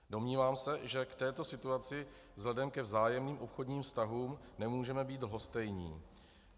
Domnívám se, že k této situaci vzhledem ke vzájemným obchodním vztahům nemůžeme být lhostejní.